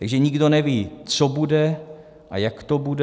Takže nikdo neví, co bude a jak to bude.